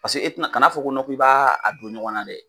Paseke e te na, ka na fɔ ko nɔ k'i b'a don ɲɔgɔn na dɛ!